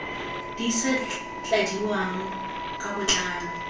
di sa tladiwang ka botlalo